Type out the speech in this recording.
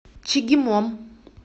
чегемом